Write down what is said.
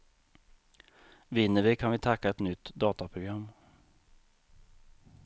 Vinner vi kan vi tacka ett nytt dataprogram.